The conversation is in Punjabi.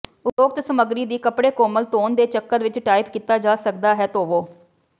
ਉਪਰੋਕਤ ਸਮੱਗਰੀ ਦੀ ਕੱਪੜੇ ਕੋਮਲ ਧੋਣ ਦੇ ਚੱਕਰ ਵਿਚ ਟਾਈਪ ਕੀਤਾ ਜਾ ਸਕਦਾ ਹੈ ਧੋਵੋ